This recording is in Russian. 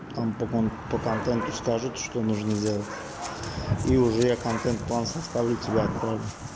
тампон по контенту скажут что нужно делать и уже я контент-план составлю тебе отправлю